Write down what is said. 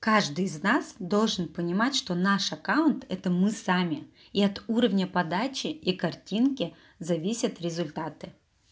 каждый из нас должен понимать что наш аккаунт это мы сами и от уровня подачи и картинки зависят результаты